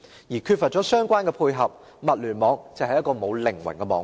而缺乏相關配合，物聯網只是一個沒有靈魂的網絡。